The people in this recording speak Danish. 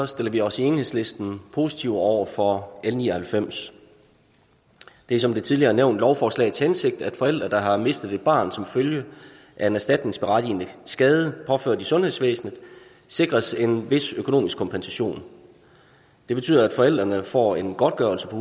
stiller vi os i enhedslisten positive over for l ni og halvfems det er som det tidligere er nævnt lovforslagets hensigt at forældre der har mistet et barn som følge af en erstatningsberettigende skade påført i sundhedsvæsenet sikres en vis økonomisk kompensation det betyder at forældrene får en godtgørelse på